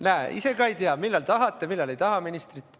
Näete, ise te ka ei tea, millal tahate ja millal ei taha ministrit.